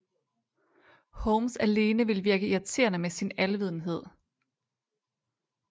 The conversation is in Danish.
Holmes alene ville virke irriterende med sin alvidenhed